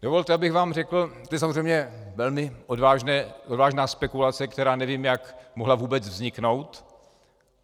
Dovolte, abych vám řekl - to je samozřejmě velmi odvážná spekulace, která nevím, jak mohla vůbec vzniknout.